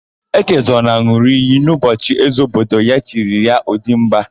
Echezọna n̄ụrụ iyi n'ụbọchị ézē obodo ya chiri ya, Ọdịmba.